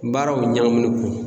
Baaraw ɲagamin kun